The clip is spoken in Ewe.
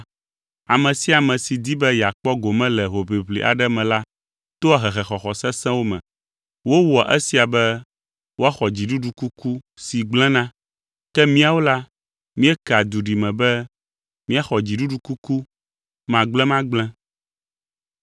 Ame sia ame si di be yeakpɔ gome le hoʋiʋli aɖe me la toa hehexɔxɔ sesẽwo me. Wowɔa esia be woaxɔ dziɖuɖukuku si gblẽna; ke míawo la, míekea duɖime be míaxɔ dziɖuɖukuku magblẽmagblẽ.